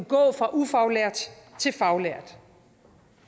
gå fra ufaglært til faglært